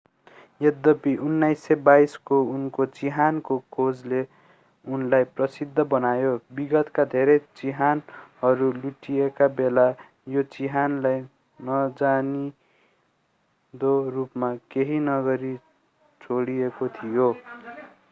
यद्यपि 1922 को उनको चिहानको खोजले उनलाई प्रसिद्ध बनायो विगतका धेरै चिहानहरू लुटिएका बेला यो चिहानलाई नजानिदो रूपमा केही नगरी छोडिएको थियो